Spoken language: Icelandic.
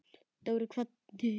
Dóri kvaddi.